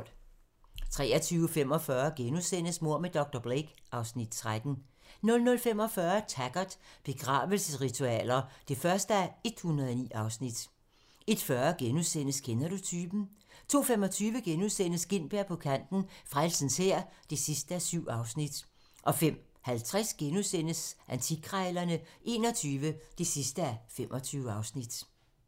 23:45: Mord med dr. Blake (Afs. 13)* 00:45: Taggart: Begravelsesritualer (1:109) 01:40: Kender du typen? * 02:25: Gintberg på kanten - Frelsens Hær (7:7)* 05:50: Antikkrejlerne XXI (25:25)*